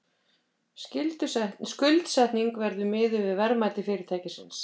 Skuldsetningin verði miðuð við verðmæti fyrirtækisins